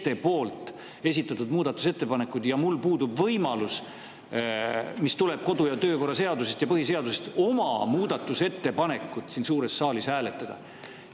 mul puudub, mis tuleneb kodu- ja töökorra seadusest ja põhiseadusest, oma muudatusettepanekut siin suures saalis hääletada.